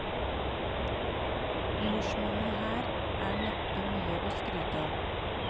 Jordsmonnet her er neppe mye å skryte av.